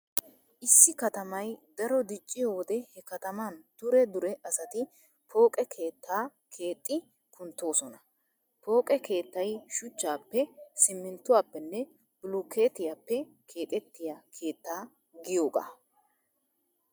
Issi katamay daro dicciyo wode he kataman dure dure asati pooqe keettaa keexxi kunttoosona. Pooqe keettay shuchchaapee, simminttuwappenne bulukeetiyappe keexettiya keetta giyogaa.